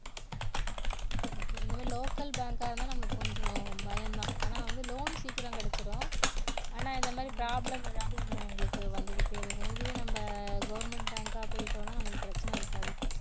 okay இதுவே local bank ஆ இருந்தா நம்மளுக்கு கொஞ்சம் பயம்தான் ஆனா வந்து loan சீக்கிரம் கிடைச்சுடும். ஆனா இந்த மாதிரி problem ஏதாவது ஒண்ணு உங்களுக்கு வந்துகிட்டே இருக்கும் இதுவே நம்ம government bank ஆ போயிட்டோம்னா நமக்கு பிரச்சனை இருக்காது